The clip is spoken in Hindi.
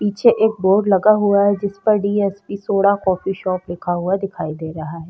पीछे एक बोर्ड लगा हुआ है जिस पर डीएसपी सोडा कॉफी शॉप लिखा हुआ दिखाई दे रहा है।